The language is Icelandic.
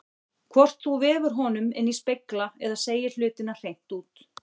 Hvort þú vefur honum inní spegla eða segir hlutina hreint út.